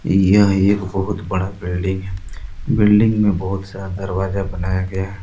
यह एक बहुत बड़ा बिल्डिंग है बिल्डिंग में बहुत सारा दरवाजा बनाया गया।